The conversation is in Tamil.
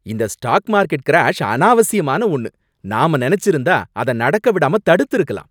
இந்த ஸ்டாக் மார்க்கெட் கிராஷ் அனாவசியமான ஒன்னு, நாம நினைச்சிருந்தா அதை நடக்க விடாம தடுத்திருக்கலாம்.